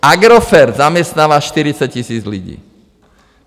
Agrofert zaměstnává 40 tisíc lidí.